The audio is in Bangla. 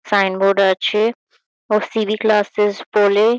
সাইন বোর্ড আছে। ও সি.ভি ক্লাসেস বলে|